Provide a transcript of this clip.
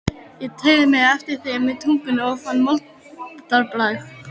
Ég teygði mig eftir þeim með tungunni og fann moldarbragð.